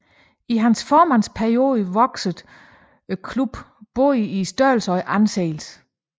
I hans formandsperiode voksede klubben både i størrelse og anseelse